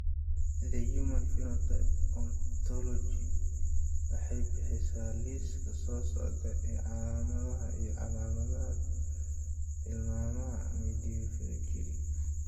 The Human Phenotype Ontology waxay bixisaa liiska soo socda ee calaamadaha iyo calaamadaha timaha Midphalangeal.